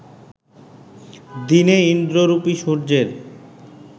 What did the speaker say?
দিনে ইন্দ্ররূপী সূর্যের